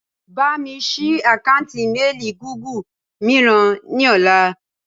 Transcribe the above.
Bámi sì àkántì "Mééli Gúgù" mìíràn ni ọ̀la.